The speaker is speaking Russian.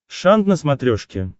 шант на смотрешке